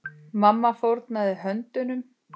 Mamma fórnaði höndum.